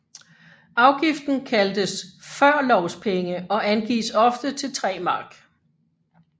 Afgiften kaldtes førlovspenge og angives ofte til 3 Mark